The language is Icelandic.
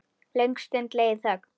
Löng stund leið í þögn.